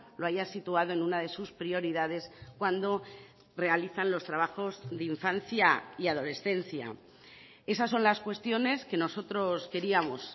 lo haya situado en una de sus prioridades cuando realizan los trabajos de infancia y adolescencia esas son las cuestiones que nosotros queríamos